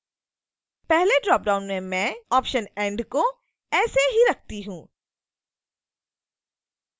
पहले ड्रॉपडाउन में मैं ऑप्शन and को ऐसे ही रखती हूं